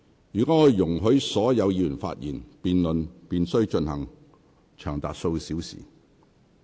若我容許所有議員發言，辯論便須進行長達數小時。